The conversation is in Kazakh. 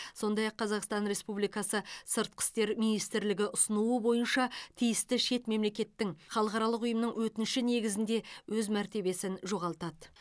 сондай ақ қазақстан республикасы сыртқы істер министрлігі ұсынуы бойынша тиісті шет мемлекеттің халықаралық ұйымның өтініші негізінде өз мәртебесін жоғалтады